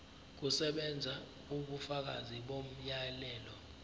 kusebenza ubufakazi bomyalelo